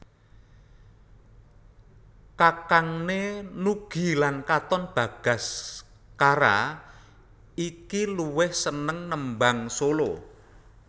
Kakangné Nugie lan Katon Bagaskara iki luwih seneng nembang solo